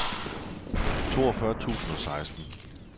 toogfyrre tusind og seksten